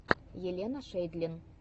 елена шейдлин